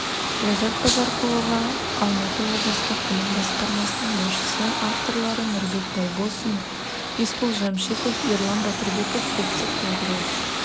ләззат базарқұлова алматы облыстық білім басқармасының басшысы авторлары нұрбек байбосын есбол жәмшитов ерлан батырбеков ұлттық ядролық